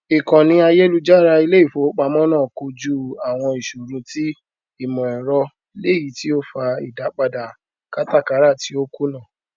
ìkànnì àyélujára ilé ìfowópamọ náà kojú àwọn ìṣòro ti ìmọ ẹrọ léyìí tí ó fa ìdápadà kátàkárà tí ó kùnà